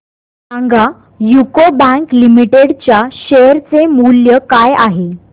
सांगा UCO bank limited च्या share चे मूल्य काय आहे